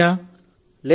తక్కువ గా వచ్చాయా